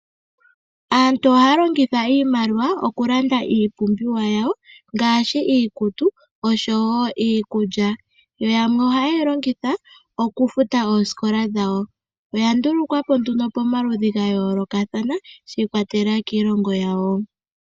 Aantu ohaya longitha iimaliwa okulanda iipumbiwa yawo ngaashi iikutu oshowo iikulya, yo yamwe ohayeyi longitha okufuta ooskola dhawo. Oya ndulukwapo nduno pamaludhi gayoolokatha shi ikwatelela kiilongo yawo.